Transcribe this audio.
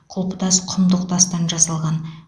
құлпытас құмдық тастан жасалған